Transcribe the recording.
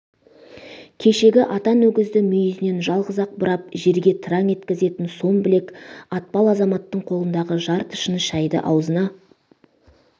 кешегі атан өгізді мүйізінен жалғыз-ақ бұрап жерге тыраң еткізетін сом білек атпал азаматтың қолындағы жарты шыны шайды аузына